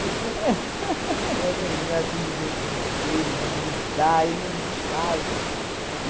De arranhada no rosto dele, de grudar e não sai, que não sei o quê.